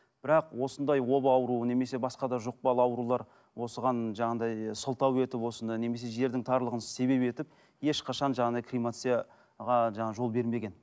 бірақ осындай оба ауруы немесе басқа да жұқпалы аурулар осыған жаңағындай сылтау етіп осыны немесе жердің тарлығын себеп етіп ешқашан жаңағындай кремацияға жаңа жол бермеген